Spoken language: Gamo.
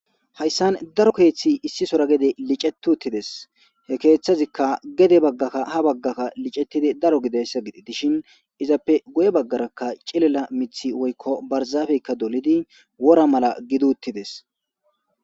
hayssan daro keeththi issi sora gede licetuttides he keeththazikka gede baggakka ha baggakka licettidi daro gidayssa gidi dishin izappe guye baggarakka cilela mithi woykko barzaafeykka dolidi wora mala giduttides